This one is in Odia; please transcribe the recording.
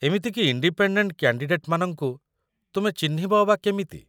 ଏମିତିକି ଇଣ୍ଡିପେଣ୍ଡେଣ୍ଟ୍ କ୍ୟାଣ୍ଡିଡେଟ୍‌ମାନଙ୍କୁ ତୁମେ ଚିହ୍ନିବ ଅବା କେମିତି?